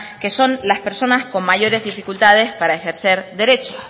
que son las personas con mayores dificultades para ejercer derecho